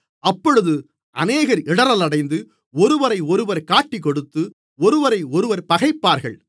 அப்பொழுது அநேகர் இடறலடைந்து ஒருவரையொருவர் காட்டிக்கொடுத்து ஒருவரையொருவர் பகைப்பார்கள்